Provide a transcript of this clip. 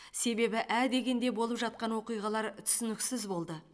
себебі ә дегенде болып жатқан оқиғалар түсініксіз болды